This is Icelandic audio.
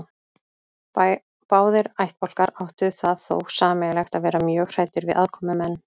Báðir ættbálkar áttu það þó sameiginlegt að vera mjög hræddir við aðkomumenn.